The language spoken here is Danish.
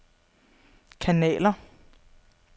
kanaler